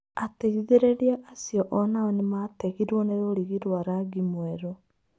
Ateithĩrĩria acio onao nĩmategirwo nĩ rũrigi rwa rangi mwerũ.